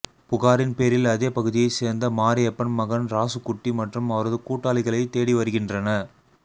புகாரின் பேரில் அதே பகுதியைச் சேர்ந்த மாரியப்பன் மகன் ராசுகுட்டி மற்றும் அவரது கூட்டாளிகளைத் தேடி வருகின்றன